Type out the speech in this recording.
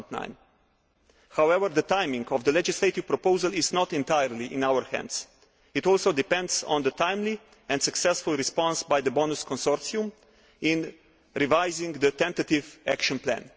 2009. However, the timing of the legislative proposal is not entirely in our hands it also depends on the timely and successful response by the BONUS consortium in revising the tentative Action Plan.